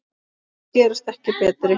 Þær gerast ekki betri.